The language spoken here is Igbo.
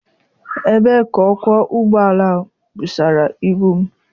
Ebee ka ọkwọ ụgbọala a busara ibu m?